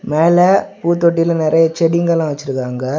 மேல பூத்தொட்டியில நெறைய செடிங்கல்லாம் வச்சிருக்காங்க.